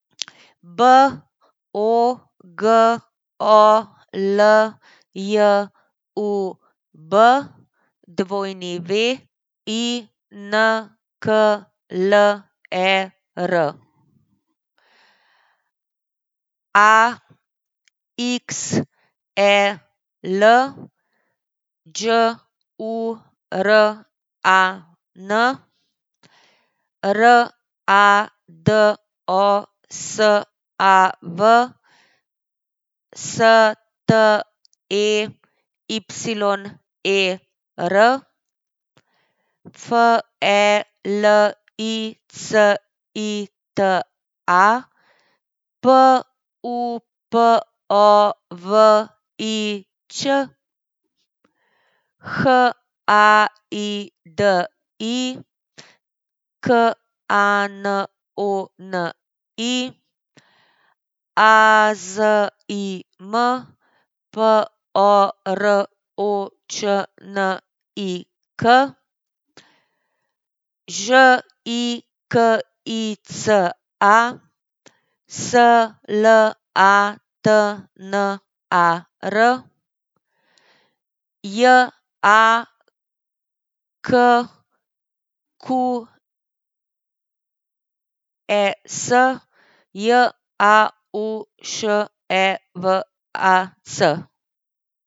B O G O L J U B, W I N K L E R; A X E L, Đ U R A N; R A D O S A V, S T E Y E R; F E L I C I T A, P U P O V I Ć; H A I D I, K A N O N I; A Z I M, P O R O Č N I K; Ž I K I C A, S L A T N A R; J A K Q E S, J A U Š E V A C.